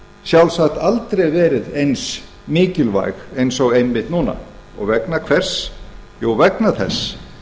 sjálfsagt aldrei verið eins mikilvæg og einmitt núna vegna hvers jú vegna þess